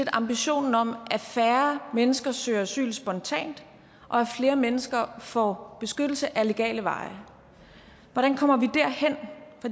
ambitionen om at færre mennesker søger asyl spontant og at flere mennesker får beskyttelse ad legale veje hvordan kommer